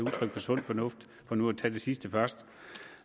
udtryk for sund fornuft for nu at tage det sidste først